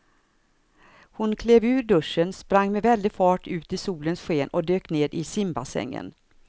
Hon klev ur duschen, sprang med väldig fart ut i solens sken och dök ner i simbassängen.